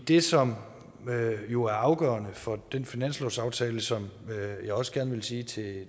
det som jo er afgørende for den finanslovsaftale som jeg også gerne vil sige til